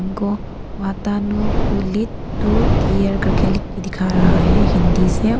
गो वातानकुलित two tier करके लिख दिख रहा है हिंदी से।